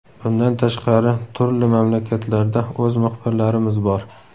Bundan tashqari, turli mamlakatlarda o‘z muxbirlarimiz bor.